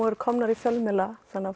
eru kominn í fjölmiðlana þannig að